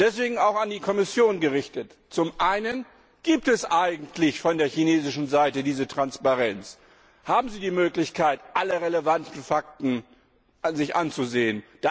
Deswegen auch an die Kommission gerichtet zum einen Gibt es eigentlich von der chinesischen Seite diese Transparenz? Haben Sie die Möglichkeit, sich alle relevanten Fakten anzusehen?